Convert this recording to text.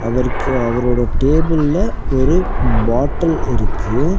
அவருக்கு அவரோட டேபிள்ல ஒரு பாட்டல் இருக்கு.